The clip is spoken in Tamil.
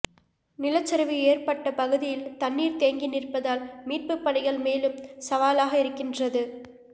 நிலச்சரிவு ஏற்பட்ட பகுதியில் தண்ணீர் தேங்கி நிற்பதால் மீட்புப் பணிகள் மேலும் சவாலாக இருக்கின்றது